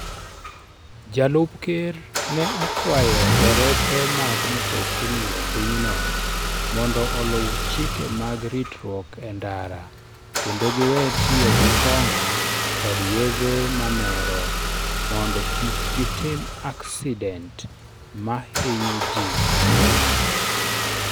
Jalup Ker ne okwayo derepe mag mtokni e pinyno mondo oluw chike mag ritruok e ndara kendo giwe tiyo gi kong'o kod yedhe mamero mondo kik gitim aksident ma hinyo ji mang'eny.